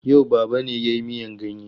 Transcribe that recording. Yau Baba ne ya yi miyan ganye.